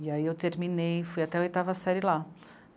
E aí eu terminei, fui até a oitava série lá.